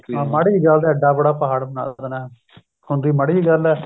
ਹਾਂ ਮਾੜੀ ਜੀ ਗੱਲ ਦਾ ਇੱਡਾ ਵੱਡਾ ਪਹਾੜ ਬਣਾ ਦੇਣਾ ਹੁੰਦੀ ਮਾੜੀ ਜਿਹੀ ਗੱਲ ਏ